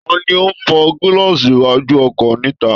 Ta ni ó ń fọ gílaààsì iwájú ọkọ̀ níta